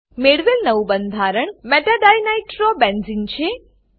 મેળવેલ નવું બંધારણ meta ડિનિટ્રોબેન્ઝને મેટા ડાઇનાઈટ્રોબેન્ઝીન છે